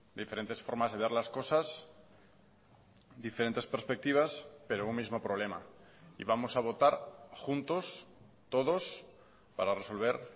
diferentes formas de ver las cosas diferentes perspectivas pero un mismo problema y vamos a votar juntos todos para resolver